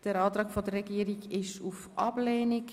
Der Antrag der Regierung lautet auf Ablehnung.